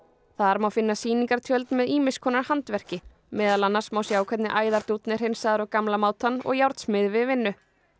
þar má finna sýningartjöld með ýmis konar handverki meðal annars má sjá hvernig æðardúnn er hreinsaður á gamla mátann og við vinnu